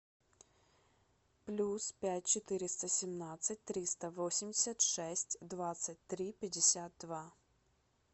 плюс пять четыреста семнадцать триста восемьдесят шесть двадцать три пятьдесят два